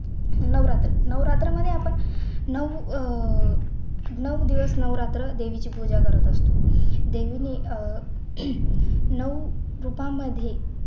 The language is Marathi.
नवरात्र, नवरात्र मुळे आपण नऊ अह नऊ दिवस नवरात्र देवीची पूजा करत असतो देवी अह नऊ रूपांमध्ये